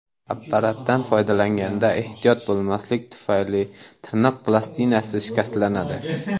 Apparatdan foydalanganda ehtiyot bo‘lmaslik tufayli tirnoq plastinasi shikastlanadi.